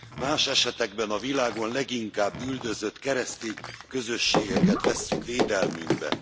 Más esetekben a világon leginkább üldözött keresztény közösségeket vesszük védelmünkbe.